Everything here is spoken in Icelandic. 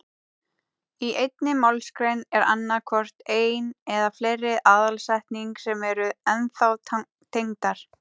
Í einni málsgrein er annað hvort ein eða fleiri aðalsetning sem eru þá tengdar.